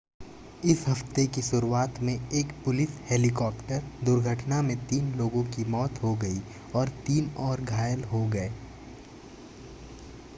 इस हफ्ते की शुरुआत में एक पुलिस हेलीकॉप्टर दुर्घटना में तीन लोगों की मौत हो गई और तीन और घायल हो गए